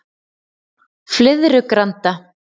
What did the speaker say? Flyðrugranda